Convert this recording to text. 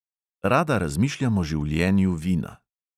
Rada razmišljam o življenju vina.